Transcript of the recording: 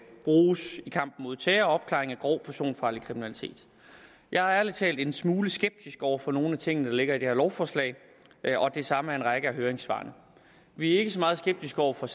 bruges i kampen mod terror og opklaring af grov personfarlig kriminalitet jeg er ærlig talt en smule skeptisk over for nogle af de ting der ligger i det her lovforslag og det samme er en række af høringssvarene vi er ikke så meget skeptiske over for